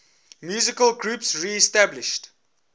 musical groups reestablished